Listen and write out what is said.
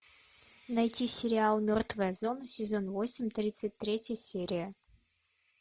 найти сериал мертвая зона сезон восемь тридцать третья серия